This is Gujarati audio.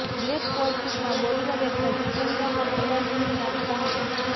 બ્લેક કોટ સૂટમાં બોલિવૂડ એક્ટર જિતેન્દ્ર પણ એવરગ્રીન લાગતાં હતાં